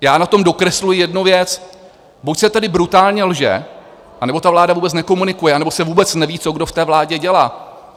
Já na tom dokresluji jednu věc: buď se tedy brutálně lže, anebo ta vláda vůbec nekomunikuje, anebo se vůbec neví, co kdo v té vládě dělá.